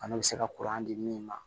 Bana bɛ se ka di min ma